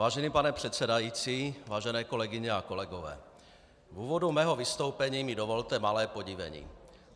Vážený pane předsedající, vážené kolegyně a kolegové, v úvodu mého vystoupení mi dovolte malé podivení.